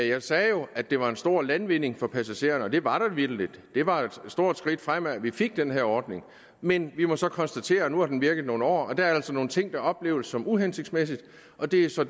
jeg sagde jo at det var en stor landvinding for passagererne og det var vitterligt det var et stort skridt fremad at vi fik den her ordning men vi må så konstatere at nu har den virket nogle år og der er altså nogle ting som opleves som uhensigtsmæssige og det er så